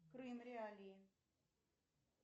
крым реалии